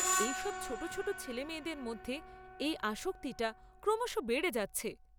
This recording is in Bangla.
এইসব ছোট ছোট ছেলেমেয়েদের মধ্যে এই আসক্তিটা ক্রমশ বেড়ে যাচ্ছে।